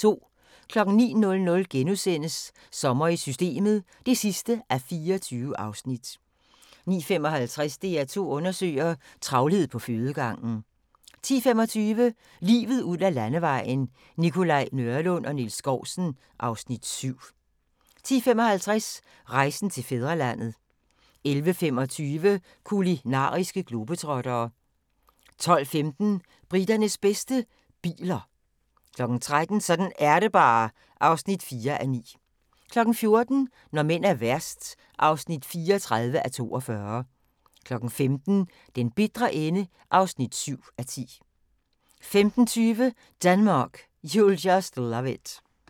09:00: Sommer i Systemet (24:24)* 09:55: DR2 Undersøger: Travlhed på fødegangen 10:25: Livet ud ad Landevejen: Nikolaj Nørlund og Niels Skousen (Afs. 7) 10:55: Rejsen til fædrelandet 11:25: Kulinariske globetrottere 12:15: Briternes bedste - biler 13:00: Sådan er det bare (4:9) 14:00: Når mænd er værst (34:42) 15:00: Den bitre ende (7:10) 15:20: Denmark, You'll Just Love It